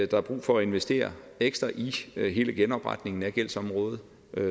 der er brug for at investere ekstra i hele genopretningen af gældsområdet